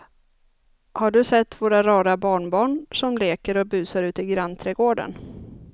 Har du sett våra rara barnbarn som leker och busar ute i grannträdgården!